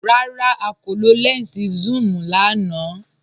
Rárá, à kò lọ lẹnsí sún-un lànà.